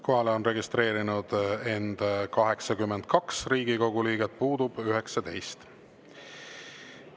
Kohalolijaks on end registreerinud 82 Riigikogu liiget, puudub 19.